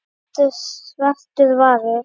getur svartur varist.